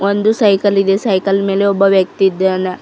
ಒಂದು ಸೈಕಲ್ ಇದೆ ಸೈಕಲ್ ಮೇಲೆ ಒಬ್ಬ ವ್ಯಕ್ತಿ ಇದ್ದಾನ.